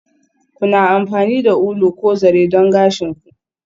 Kuna amfani da ulu ko zare don gashin ku?